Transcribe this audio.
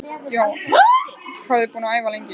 Jóhanna: Hvað eruð þið búin að æfa lengi?